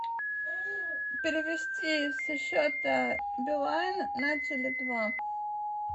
перевести со счета билайн на теле два